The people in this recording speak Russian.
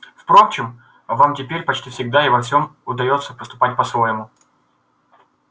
впрочем вам теперь почти всегда и во всем удаётся поступать по-своему